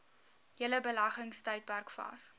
hele beleggingstydperk vas